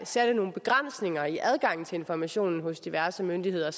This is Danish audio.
satte nogle begrænsninger i adgangen til informationen hos diverse myndigheder